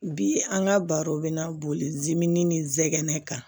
Bi an ka baro bɛna boli mi ni zɛgɛnɛ kan